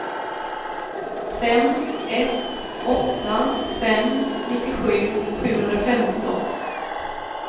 fem ett åtta fem nittiosju sjuhundrafemton